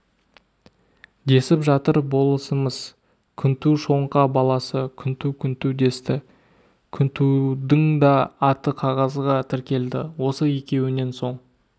десіп жатыр болысымыз күнту шоңқа баласы күнту күнту десті күнтудыңда аты қағазға тіркелді осы екеуінен соң